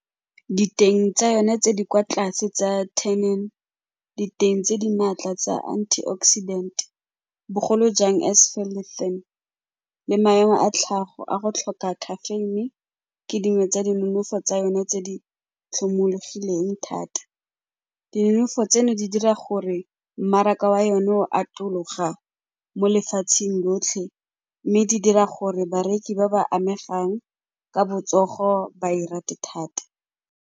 Diteng tsa yone tse di kwa tlase tsa , diteng tse di maatla tsa antioxidant, bogolo jang , le maemo a tlhago a go tlhoka caffeine ke dingwe tsa dinonofo tsa yone tse di tlhomologileng thata. Dinonofo tseno di dira gore mmaraka wa yone o atologa mo lefatsheng lotlhe mme di dira gore bareki ba ba amegang ka botsogo ba e rate thata.